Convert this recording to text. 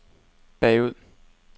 bagud